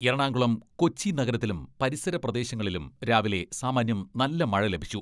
എറണാകുളം കൊച്ചി നഗരത്തിലും പരിസര പ്രദേശങ്ങളിലും രാവിലെ സാമാന്യം നല്ല മഴ ലഭിച്ചു.